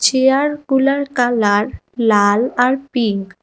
চেয়ারগুলার colour লাল আর pink.